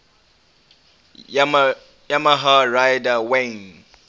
yamaha rider wayne